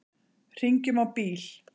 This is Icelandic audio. Hringjum á bíl.